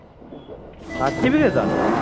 certification